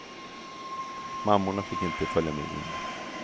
Mammorna fick inte följa med in.